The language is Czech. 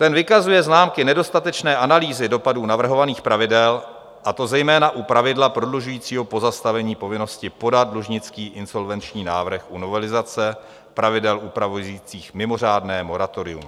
Ten vykazuje známky nedostatečné analýzy dopadů navrhovaných pravidel, a to zejména u pravidla prodlužujícího pozastavení povinnosti podat dlužnický insolvenční návrh u novelizace pravidel upravujících mimořádné moratorium.